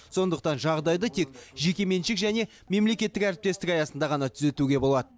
сондықтан жағдайды тек жеке меншік және мемлекеттік әріптестік аясында ғана түзетуге болады